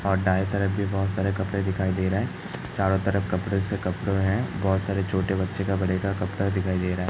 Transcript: और दाये तरफ भी बहुत सारे कपड़े दिखाई दे रहे है चारो तरफ कपड़े से कपड़े है। बहुत सारे छोटे बच्चे का बड़े का कपड़ा दिखाई दे रहा हैं।